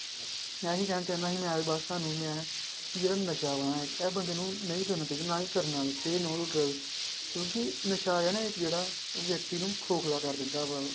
ਇਹੀ ਕਹਿਣਾ ਚਾਹੁੰਦਾ ਸੀ ਮੈਂ ਤੇ ਬਸ ਤੁਹਾਨੂੰ ਮੈਂ ਕਿ ਜਿਹੜਾ ਨਸ਼ਾ ਵਾ ਨਾ ਇਹ ਬੰਦੇ ਨੂੰ ਨਹੀਂ ਕਰਨਾ ਚਾਹੀਦਾ ਨਾ ਹੀ ਕਰਨਾ say no to drug ਕਿਉਂਕਿ ਨਸ਼ਾ ਆਇਆ ਨਾ ਇੱਕ ਜਿਹੜਾ ਵਿਅਕਤੀ ਨੂੰ ਖੋਖਲਾ ਕਰ ਦਿੰਦਾ ਵਾ।